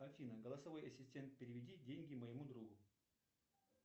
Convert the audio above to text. афина голосовой ассистент переведи деньги моему другу